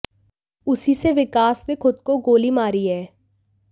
उसी से विकास ने खुद को गोली मारी है